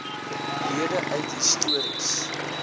lede uit histories